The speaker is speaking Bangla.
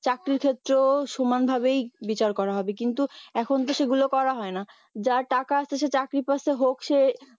চাকরির ক্ষেত্রেও সমান ভাবেই বিচার করা হবে কিন্তু এখন তো সেগুলো করা হয়না যার টাকা আছে সে চাকরি পাচ্ছে হোক সে